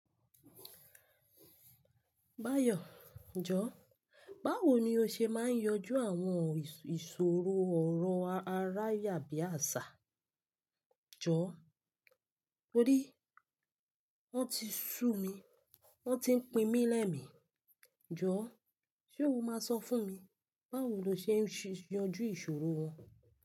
Báyọ̀, jọ̀, báwo ni o ṣe máa ń yanjú àwọn ìṣòro ọ̀rọ̀ aráyàbàṣà? Jọ̀, torí wọ́n ti sú mi, wọ́n ti pín mí lẹ́mi. Jọ̀, ṣe o máa sọ fún mi báwo lo ṣe ń yanjú ìṣòro wọn?